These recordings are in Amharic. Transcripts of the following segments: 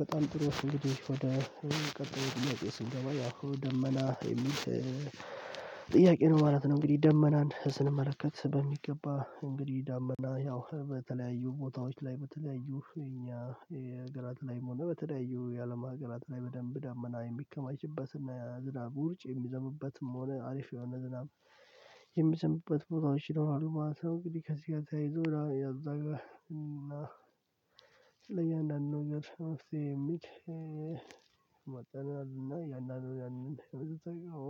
በጣም ጥሩ እንግዲህ ወደ ቀጣዩ ጥያቄ ስንገባ፤ ያሁ ደመና የሚል ጥያቄ ነው ማለት ነው። እንግዲህ ደመናን ስንመለከት በሚገባ እንግዲህ ዳመና ያው በተለያዩ ቦታዎች ላይ በተለያዩ እኛ ሀገር ላይ መሆኑ በተለያዩ የአለም ሀገራት ላይ በደንብ ዳመና የሚከማችበትና ዝናብ ውርጭ የሚዘምበትም ሆነ አሪፍ የሆነ ዝናብ የሚዘንብበት ቦታዎች ይኖራሉ ማለት ነው። እንግዲህ ከዚህ ጋር ተያይዞ እያዛገ እና ለእያንዳንዱ ነገር መፍትሄ የሚል እእእ ነው። እያንዳንዱን ያንን ነው የምትጠይቀው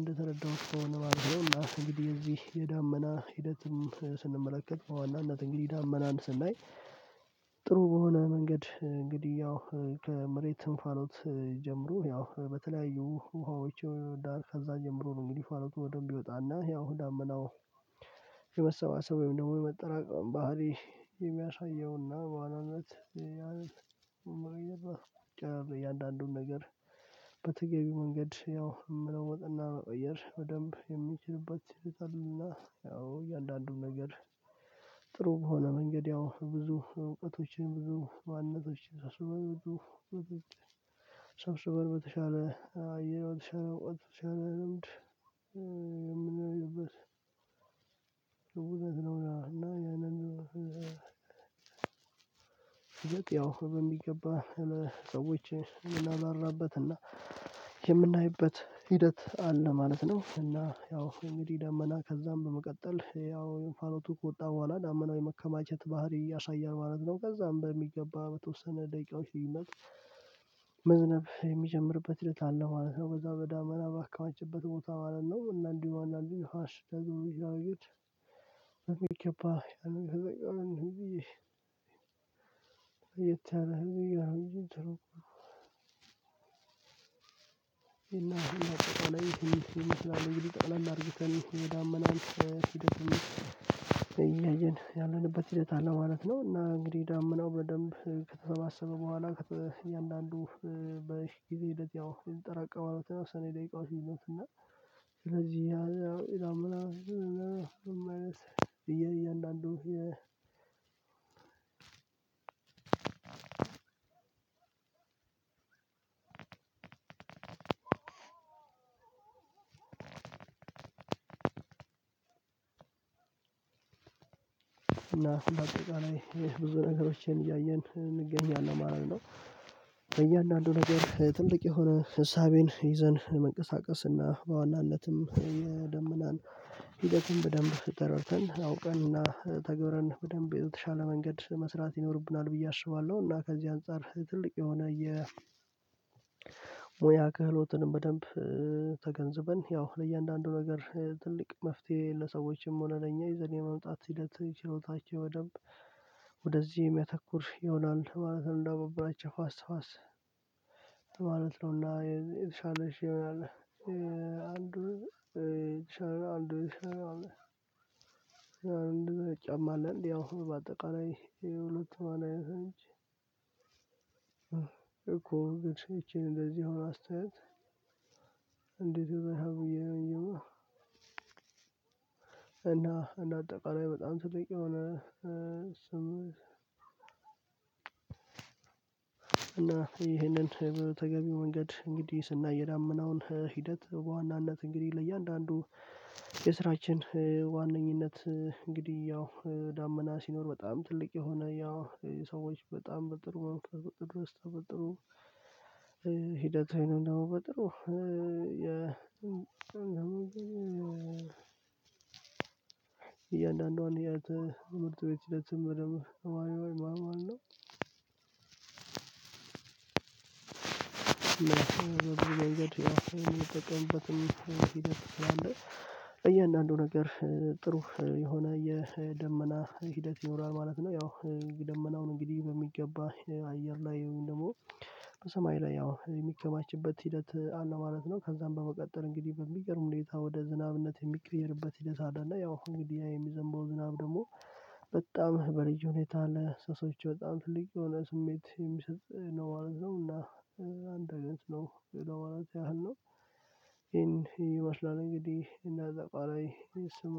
እንደተረዳሁት ከሆነ ማለት ነው። እና እንግዲህ የዚህ የዳመና ሂደትም ስንመለከት በዋናነት እንግዲህ ዳመናን ስናይ። ጥሩ የሆነ መንገድ እንግዲህ ያው ከመሬት እንፋሎት ጀምሮ ያው በተለያዩ ውሃዎች ዳር ከዛ ጀምሮ ነው እንግዲህ እንፋሎቱ በደንብ ይወጣና ያው ዳመናው። የመሰባሰብ ወይም ደግሞ የመጠራቀም ባህሪ የሚያሳየውና በዋናነት እያንዳንዱን ነገር። በተገቢው መንገድ ያው መለወጥና መቀየር በደንብ የሚችልበት ሲጥልና ያው እያንዳንዱን ነገር። ጥሩ በሆነ መንገድ ያው ብዙ እውቀቶችን ብዙ ማንነቶችን ሰብስበን በተሻለ አየር በተሻለ አውቀህ በተሻለ ልምድ የምንለይበት ነው። እና ያንን ያው በሚገባ ሰዎች የምናባራበት እና የምናይበት ሂደት አለ ማለት ነው። እና ያው እንግዲህ ደመና ከዛም በመቀጠል ያው እንፋሎቱ ከወጣ በኋላ ዳመናው የመከማቸት ባህሪ ያሳያል ማለት ነው። ከዛም በሚገባ በተወሰነ ደቂቃዎች ልዩነት መዝነብ የሚጀምርበት ሂደት አለ ማለት ነው። በዛ በዳመና ባከባቸበት ቦታ ማለት ነው እና እንዲሁ እንዳሉ አሽ ደግሞ ቢል አድርጌት ገባህ። እንደዛ ነው ብዬ እየተራረኩኝ እንደዛ ነው ይሄን አሁን አቅም ላይ ስንት ይመስላል? እንግዲህ ጠቅለል አርግተን ዳመናን ሂደትም እያየን ያለንበት ሂደት አለ ማለት ነው። እና እንግዲህ ዳምናው በደንብ ከተሰባሰበ በኋላ እያንዳንዱ በዚህ ጊዜ ለዚያው የምትጠራቀው አለው ተወሰነ የደቂቃው ሲሉት እና ስለዚህ ያው ኢዳም ምናምን የማይነስ እየአንዳንዱ የ አዎ እና ስንት አጠቃላይ ብዙ ነገሮችን እያየን እንገኛለን ማለት ነው። በእያንዳንዱ ነገር ትልቅ የሆነ ሀሳቤን ይዘን ለመንቀሳቀስና በዋናነትም የደመናን ሂደትም በደንብ ተጠርተን አውቀን እና ተግብረን በደንብ የተሻለ መንገድ መስራት ይኖርብናል ብዬ አስባለሁ። እና ከዚህ አንፃር ትልቅ የሆነ የሙያ ክህሎትንም በደንብ ተገንዝበን ያው ለእያንዳንዱ ነገር ትልቅ መፍትሄ ለሰዎችም ሆነ ለእኛ የዘኔ መምጣት ሂደት ችሎታቸው በደንብ ወደዚህ የሚያተኩር ይሆናል ማለት ነው። እንዳበበራቸው ፋስ ፋስ ማለት ነው እና የተሻለሽ ይሆናል። አንዱ የተሻለ አንዱ የተሻለ አንዱ የተሻለ ጫማ አለ። እንዲህ አሁን በአጠቃላይ የሉትማን አይነት እንጂ እኮ ግን ይቺን እንደዚህ አሁን አስተያየት እንዴት እንደዚህ አይሆንም? እና እንደ አጠቃላይ በጣም ስጠኝ የሆነ። እና ይህንን በተገቢው መንገድ እንግዲህ ስናየዳምነውን ሂደት በዋናነት እንግዲህ ለእያንዳንዱ የስራችን ዋነኝነት እንግዲህ ያው ዳመና ሲኖር በጣም ትልቅ የሆነ ያው ሰዎች በጣም ብ ጥሩ ድረስ ሂደት ነው። በጥሩ እያንዳንዱን የምርጥ ቤት ስምር በደንብ ማለት ነው። ሂደት አለ። እያንዳንዱ ነገር ጥሩ የሆነ የደመና ሂደት ይኖራል ማለት ነው። ያው ደመናውን እንግዲህ በሚገባ አየር ላይ ወይም ደግሞ በሰማይ ላይ ያው የሚከማችበት ሂደት አለ ማለት ነው። ከዛም በመቀጠል እንግዲህ በሚገርም ሁኔታ ወደ ዝናብነት የሚቀየርበት ሂደት አለ። እና ያው እንግዲህ የሚዘንበው ዝናብ ደግሞ በጣም በልጅ ሁኔታ ለሰሶች በጣም ትልቅ የሆነ ስሜት የሚሰጥ ነው ማለት ነው። እና አንድ አይነት ነው ለማለት ያህል ነው። ይሄን ይመስላል እንግዲህ እና እዛ ቃላይ ስም